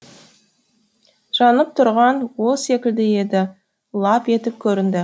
жанып тұрған от секілді еді лап етіп көрінді